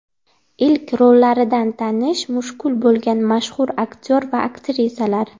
Ilk rollaridan tanish mushkul bo‘lgan mashhur aktyor va aktrisalar .